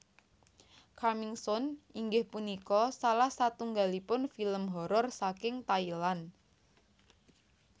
Coming Soon inggih punika salah satunggalipun film horor saking Thailand